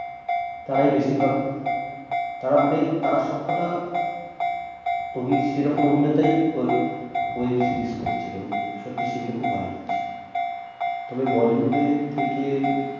তারাই বেশিরভাগ তারা মানে তারা সবকটা অভির সে রকম অভিনেতাই web series করছে এবং সত্যি সেগুলো খুব ভাল হচ্ছে তবে bollywood এ থেকে